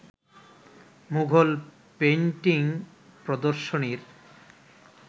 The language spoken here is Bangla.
মুঘল পেইন্টিং প্রদর্শনীর